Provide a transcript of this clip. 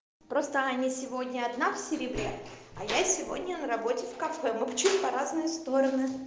просто аня сегодня одна в серебре а я сегодня на работе в кафе мы почему то в разные стороны